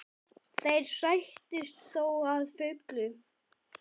Þeir sættust þó að fullu.